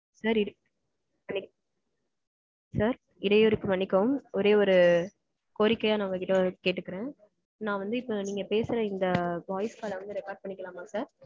sir. இடயூருக்கு மன்னிக்கவும். ஒரே ஒரு கோரிக்கையா நா உங்கக்கிட்ட ஒன்னு கேட்டுக்கறேன் நா வந்து இப்போ நீங்க பேசற இந்த voice call வந்து record பண்ணிக்கலாமா sir?